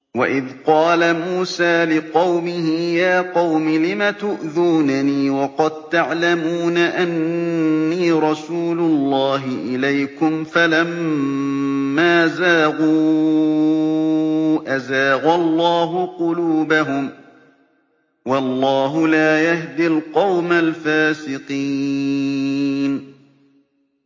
وَإِذْ قَالَ مُوسَىٰ لِقَوْمِهِ يَا قَوْمِ لِمَ تُؤْذُونَنِي وَقَد تَّعْلَمُونَ أَنِّي رَسُولُ اللَّهِ إِلَيْكُمْ ۖ فَلَمَّا زَاغُوا أَزَاغَ اللَّهُ قُلُوبَهُمْ ۚ وَاللَّهُ لَا يَهْدِي الْقَوْمَ الْفَاسِقِينَ